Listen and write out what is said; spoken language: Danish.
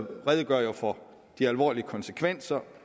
redegør for de alvorlige konsekvenser